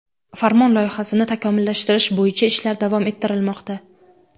Farmon loyihasini takomillashtirish bo‘yicha ishlar davom ettirilmoqda.